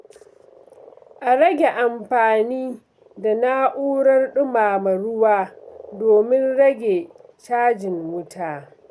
A rage amfani da na’urar ɗumama ruwa domin rage cajin wuta.